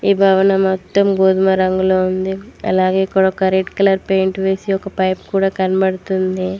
ఈ భవనం మొత్తం గోధుమ రంగులో ఉంది అలాగే ఇక్కడ ఒక రెడ్ కలర్ పెయింట్ వేసి ఒక పైప్ కూడ కనపడుతుంది.